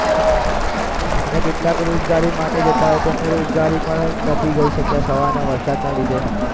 હા અને કેટલાક રોજગારી માટે જતા હોય એમને રોજગારી પણ નથી જઈ શક્યા સવારના વરસાદના લીધે